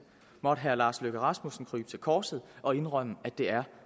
måtte herre lars løkke rasmussen krybe til korset og indrømme at det er